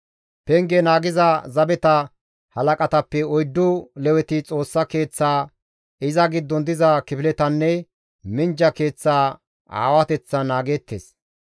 Penge naagiza zabeta halaqatappe oyddu Leweti Xoossa Keeththaa, iza giddon diza kifiletanne minjja keeththa aawateththan naageettes.